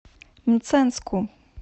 мценску